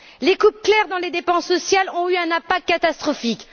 Les coupes claires dans les dépenses sociales ont eu un impact catastrophique.